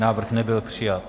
Návrh nebyl přijat.